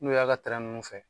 N'u y'a kɛ nunnu fɛ